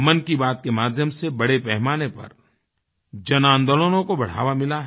मन की बात के माध्यम से बड़े पैमाने पर जनआन्दोलनों को बढ़ावा मिला है